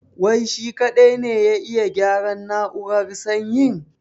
Wai shi kaɗai ne ya iya gyaran na'urar sanyin?